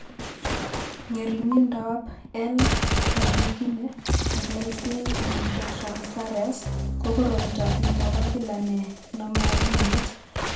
Ng'ering'indoab L arginine:glycine amidinotransferase ko koroito ne mo bo kila ne nome akilit.